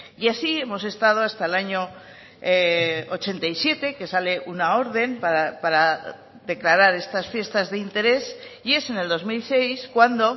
y así hemos estado hasta el año ochenta y siete que sale una orden para declarar estas fiestas de interés y es en el dos mil seis cuando